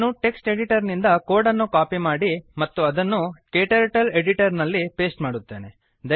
ನಾನು text editor ನಿಂದ code ಅನ್ನು ಕಾಪಿ ಮಾಡಿ ಅದನ್ನು ಕ್ಟರ್ಟಲ್ ಎಡಿಟರ್ ನಲ್ಲಿ ಪೇಸ್ಟ್ ಮಾಡುತ್ತೇನೆ